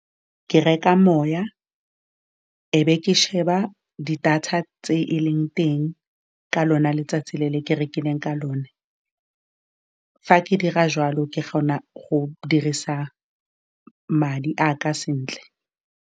Ke reka moya, e be ke sheba di data tse e leng teng ka lona letsatsi le ke rekileng ka lona. Fa ke dira jwalo, ke kgona go dirisa madi a ka sentle.